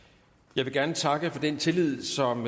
jeg vil gerne takke for den tillid som